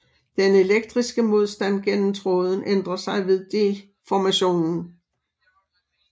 Den elektriske modstand gennem tråden ændrer sig ved deformationen